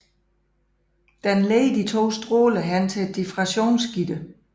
Denne leder de to stråler hen til et diffraktionsgitter